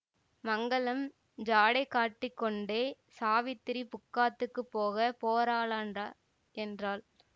மங்களம் ஜாடை காட்டிக் கொண்டே சாவித்திரி புக்காத்துக்கு போக போறாளாண்டா என்றாள்